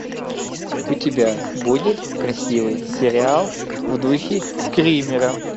у тебя будет красивый сериал в духе скримера